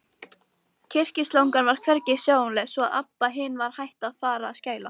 Kyrkislangan var hvergi sjáanleg, svo að Abba hin var hætt við að fara að skæla.